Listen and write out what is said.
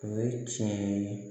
O ye tiɲɛ ye